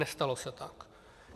Nestalo se tak.